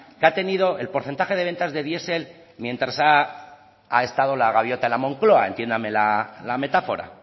que ha tenido el porcentaje de ventas de diesel mientras ha estado la gaviota en la moncloa entiéndame la metáfora